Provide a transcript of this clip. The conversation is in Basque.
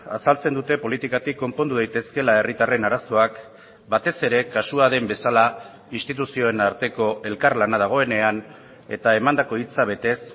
azaltzen dute politikatik konpondu daitezkeela herritarren arazoak batez ere kasua den bezala instituzioen arteko elkarlana dagoenean eta emandako hitza betez